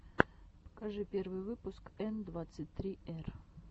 покажи первый выпуск н двадцать три р